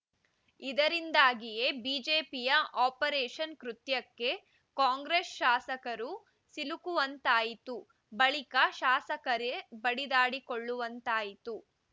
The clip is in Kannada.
ಇದರಿಂದಾಗಿಯೇ ಬಿಜೆಪಿಯ ಆಪರೇಷನ್‌ ಕೃತ್ಯಕ್ಕೆ ಕಾಂಗ್ರೆಸ್‌ ಶಾಸಕರು ಸಿಲುಕುವಂತಾಯಿತು ಬಳಿಕ ಶಾಸಕರೇ ಬಡಿದಾಡಿಕೊಳ್ಳುವಂತಾಯಿತು